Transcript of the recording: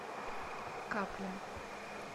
капля